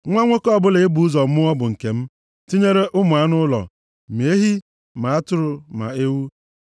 “Nwa nwoke ọbụla e bụ ụzọ mụọ bụ nke m, tinyere ụmụ anụ ụlọ, ma ehi, ma atụrụ, ma ewu.